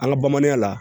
An ka bamananya la